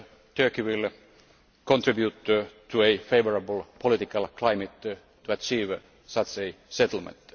Turkey will contribute to a favourable political climate to achieve such a settlement.